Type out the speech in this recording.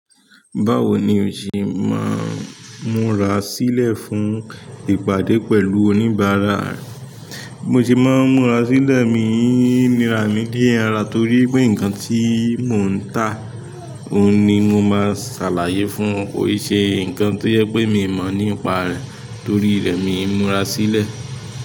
Báwo ni o ṣe máa ń múra sílẹ̀ fún ìpàdé pẹ̀lú oníbàárà? Mo ṣe máa ń múra sílẹ̀, mi ń nira ní ara torí pé nkan tí mò ń tà, òhun ni mo máa ṣàlàyé fún, kò n ṣe nkan tó jẹ pé mi mọ̀ nípa rẹ̀ torí rẹ̀ mi ń múra sílẹ̀.